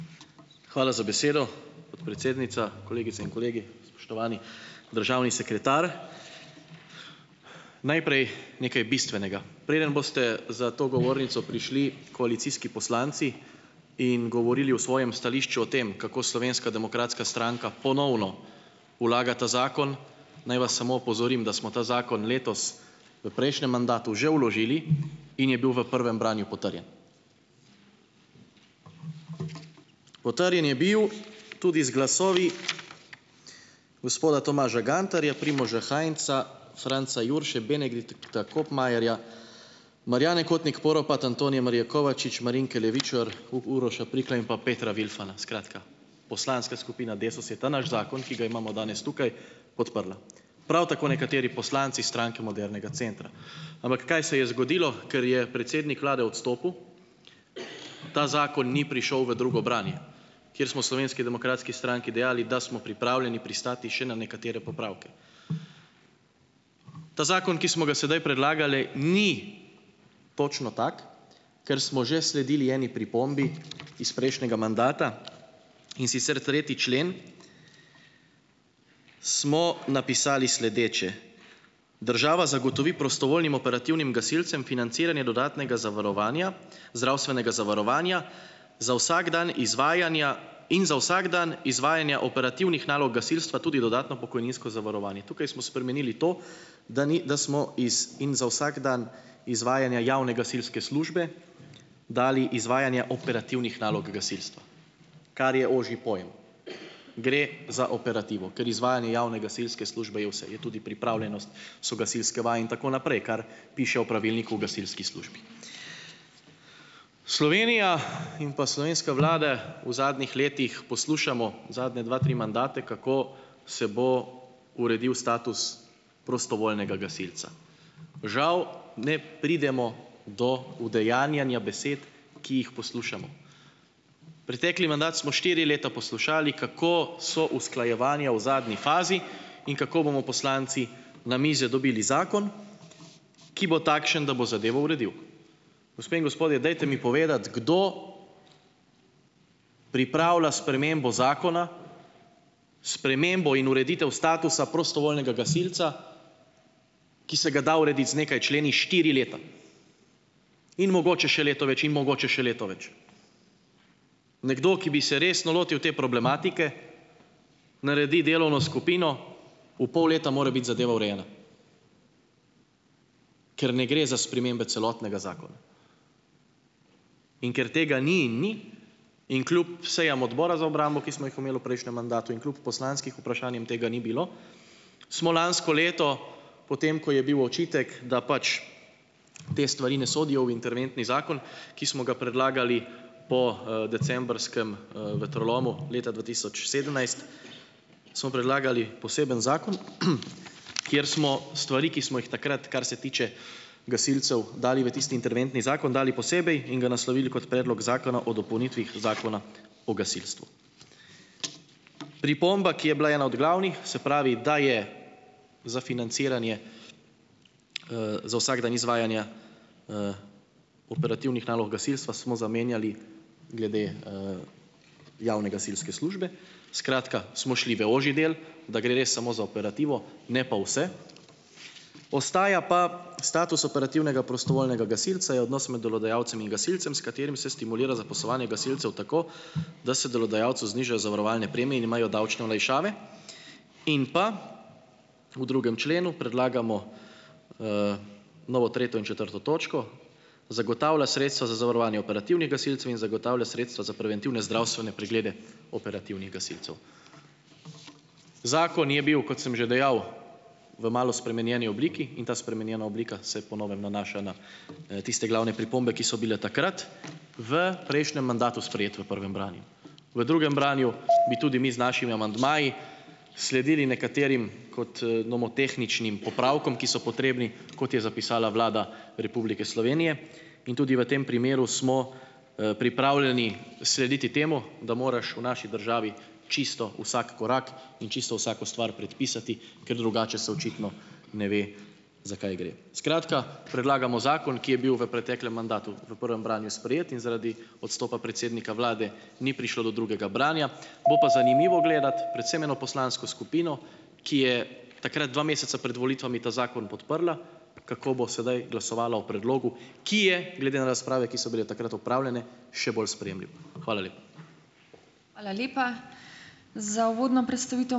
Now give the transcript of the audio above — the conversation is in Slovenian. Hvala za besedo, podpredsednica. Kolegice in kolegi, spoštovani državni sekretar! Najprej nekaj bistvenega. Preden boste za to govornico prišli koalicijski poslanci in govorili v svojem stališču o tem, kako Slovenska demokratska stranka ponovno vlaga ta zakon, naj vas samo opozorim, da smo ta zakon letos v prejšnjem mandatu že vložili in je bil v prvem branju potrjen. Potrjen je bil tudi z glasovi gospoda Tomaža Gantarja, Primoža Hainza, Franca Jurše, Benedikta Kopmajerja, Marjane Kotnik Poropat, Antonije Marije Kovačič, Marinke Levičar, Uroša Prikla in pa Petra Vilfana. Skratka, poslanska skupina Desus je ta naš zakon, ki ga imamo danes tukaj, podprla. Prav tako nekateri poslanci Stranke modernega centra. Ampak, kaj se je zgodilo? Ker je predsednik vlade odstopil, ta zakon ni prišel v drugo branje, ker smo v Slovenski demokratski stranki dejali, da smo pripravljeni pristati še na nekatere popravke. Ta zakon, ki smo ga sedaj predlagali, ni točno tak, ker smo že sledili eni pripombi iz prejšnjega mandata in sicer tretji člen smo napisali sledeče: "Država zagotovi prostovoljnim operativnim gasilcem financiranje dodatnega zavarovanja, zdravstvenega zavarovanja za vsak dan izvajanja in za vsak dan izvajanja operativnih nalog gasilstva tudi dodatno pokojninsko zavarovanje." Tukaj smo spremenili to, da ni, da smo iz "in za vsak dan izvajanja javne gasilske službe" dali "izvajanje operativnih nalog gasilstva", kar je ožji pojem. Gre za operativo, ker izvajanje javne gasilske službe je vse, je tudi pripravljenost, so gasilske vaje, in tako naprej, kar piše v pravilniku o gasilski službi. Slovenija in pa slovenska vlada v zadnjih letih poslušamo zadnja dva, tri mandate, kako se bo uredil status prostovoljnega gasilca. Žal ne pridemo do udejanjanja besed, ki jih poslušamo. Pretekli mandat smo štiri leta poslušali, kako so usklajevanja v zadnji fazi in kako bomo poslanci na mize dobili zakon, ki bo takšen, da bo zadevo uredil. Gospe in gospodje, dajte mi povedati, kdo pripravila spremembo zakona, spremembo in ureditev statusa prostovoljnega gasilca, ki se ga da urediti z nekaj členi štiri leta in mogoče še leto več in mogoče še leto več. Nekdo, ki bi se resno lotil te problematike, naredi delovno skupino, v pol leta mora biti zadeva urejena, ker ne gre za spremembe celotnega zakona. In ker tega ni in ni, in kljub sejam odbora za obrambo, ki smo jih imeli v prejšnjem mandatu in kljub poslanskih vprašanj, jim tega ni bilo, smo lansko leto potem, ko je bil očitek, da pač te stvari ne sodijo v interventni zakon, ki smo ga predlagali po, decembrskem, vetrolomu leta dva tisoč sedemnajst, smo predlagali poseben zakon, kjer smo stvari, ki smo jih takrat, kar se tiče gasilcev, dali v tisti interventni zakon, dali posebej in ga naslovili kot Predlog zakona o dopolnitvah zakona o gasilstvu. Pripomba, ki je bila ena od glavnih, se pravi, da je za financiranje, za vsak dan izvajanja, operativnih nalog gasilstva, smo zamenjali glede, javne gasilske službe, skratka, smo šli v ožji del, da gre res samo za operativo, ne pa vse, ostaja pa "status operativnega prostovoljnega gasilca, je odnos med delodajalcem in gasilcem, s katerim se stimulira zaposlovanje gasilcev tako, da se delodajalcu zniža zavarovalne premije in imajo davčne olajšave". In pa, v drugem členu predlagamo, novo tretjo in četrto točko, "zagotavlja sredstva za zavarovanje operativnih gasilcev in zagotavlja sredstva za preventivne zdravstvene preglede operativnih gasilcev". Zakon je bil, kot sem že dejal, v malo spremenjeni obliki in ta spremenjena oblika se po novem nanaša na, tiste glavne pripombe, ki so bile takrat v prejšnjem mandatu sprejete v prvem branju. V drugem branju bi tudi mi z našimi amandmaji sledili nekaterim kot, nomotehničnim popravkom, ki so potrebni, kot je zapisala Vlada Republike Slovenije, in tudi v tem primeru smo, pripravljeni slediti temu, da moraš v naši državi čisto vsak korak in čisto vsako stvar predpisati, ker drugače se očitno ne ve, za kaj gre. Skratka, predlagamo zakon, ki je bil v preteklem mandatu v prvem branju sprejet in zaradi odstopa predsednika vlade ni prišlo do drugega branja, bo pa zanimivo gledati predvsem eno poslansko skupino, ki je takrat dva meseca pred volitvami ta zakon podprla, kako bo sedaj glasovala o predlogu, ki je, glede na razprave, ki so bile takrat opravljene, še bolj sprejemljiv. Hvala lepa.